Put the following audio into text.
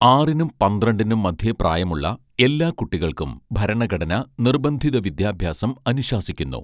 ആറിനും പന്ത്രണ്ടിനും മധ്യേപ്രായമുള്ള എല്ലാ കുട്ടികൾക്കും ഭരണഘടന നിർബന്ധിത വിദ്യാഭ്യാസം അനുശാസിക്കുന്നു